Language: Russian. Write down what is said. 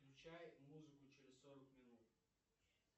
включай музыку через сорок минут